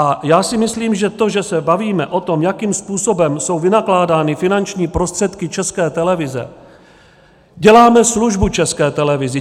A já si myslím, že to, že se bavíme o tom, jakým způsobem jsou vynakládány finanční prostředky České televize, děláme službu České televizi.